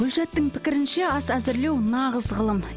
гүльшаттың пікірінше ас әзірлеу нағыз ғылым